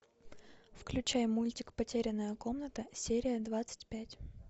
включай мультик потерянная комната серия двадцать пять